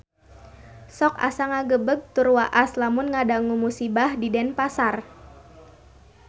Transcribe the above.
Sok asa ngagebeg tur waas lamun ngadangu musibah di Denpasar